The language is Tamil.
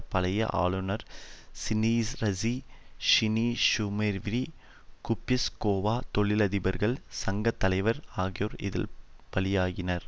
பழைய ஆழுனர் ஸிணீனீரஸீ யிணீக்ஷீமீரீவீ குய்ப்ஸ்கொவா தொழிலதிபர்கள் சங்க தலைவர் ஆகியோர் இதில் பலியாகினர்